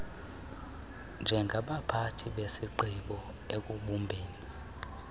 njengabathathi bezigqibo ekubumbeni